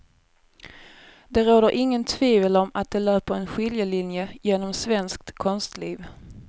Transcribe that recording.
Det råder inget tvivel om att det löper en skiljelinje genom svenskt konstliv.